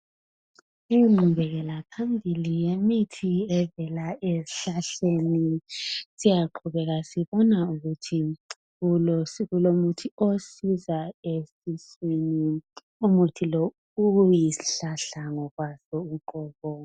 Ingqubekela phambili yemithi evela ezihlahleni siyaqubeka sibona ukuthi ezitholo kulomuthi osiza esiswini umuthi lo uyisihlahla ngokwaso uqobo.